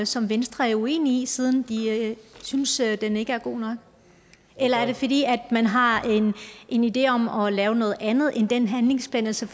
som venstre er uenig siden de synes at den ikke er god nok eller er det fordi man har en en idé om at lave noget andet end den handlingsplan altså